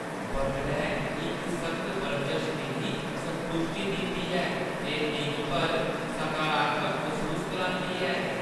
बडलै इक सख्त बरजस मिगी संतुश्टी दिंदी ऐ ते दिन भर सकारात्मक मसूस करांदी ऐ।